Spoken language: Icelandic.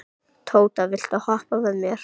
Tóta, viltu hoppa með mér?